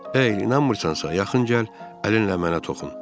Ey, inanmırsansa, yaxın gəl, əlinlə mənə toxun.